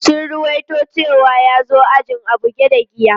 Sun ruwaito cewa ya zo ajin a buge da giya.